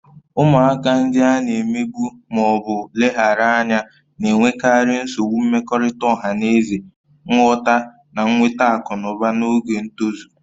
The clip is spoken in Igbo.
Ụmụaka ndị a na-emegbu ma ọ bụ leghaara anya na-enwekarị nsogbu mmekọrịta ọha na eze, nghọta, na nweta akụ na ụba n'oge ntozu